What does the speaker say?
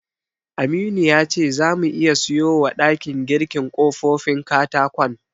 Aminu ya ce zamu iya siyowa ɗakin girkin ƙofofin katakon.